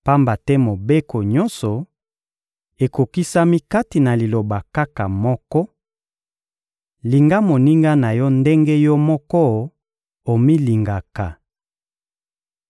Pamba te Mobeko nyonso ekokisami kati na liloba kaka moko: «Linga moninga na yo ndenge yo moko omilingaka.»